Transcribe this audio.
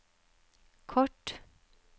kort